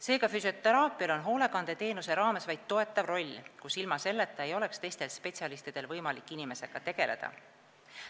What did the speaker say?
Seega, füsioteraapial on hoolekandeteenuse raames vaid toetav roll, ilma selleta ei oleks teistel spetsialistidel võimalik inimesega tegeleda.